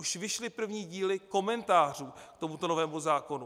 Už vyšly první díly komentářů k tomuto novému zákonu.